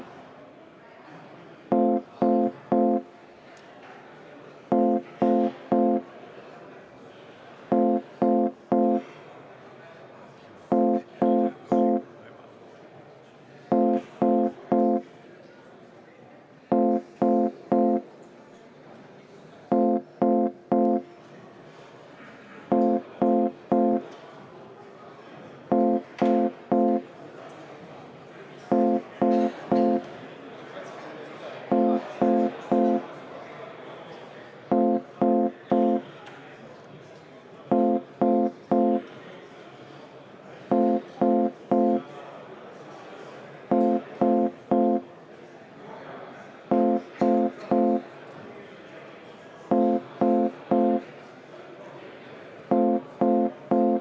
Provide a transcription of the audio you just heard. Nõndamoodi!